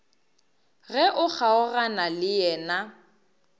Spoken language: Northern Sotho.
ge o kgaogana le yena